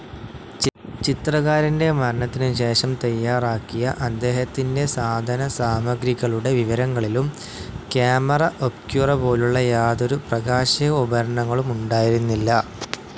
ചിത്രകാരൻ്റെ മരണത്തിനുശേഷം തയ്യാറാക്കിയ അദ്ദേഹത്തിൻ്റെ സാധനസാമഗ്രികളുടെ വിവരങ്ങളിലും കാമറ ഒബ്ക്യുറ പോലുള്ള യാതൊരു പ്രകാശിക ഉപകരണങ്ങളും ഉണ്ടായിരുന്നില്ല.